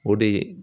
O de